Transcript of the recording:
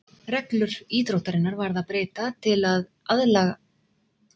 Reglum íþróttarinnar varð að breyta til að aðlaga hana að evrópskum hestum og aðstæðum.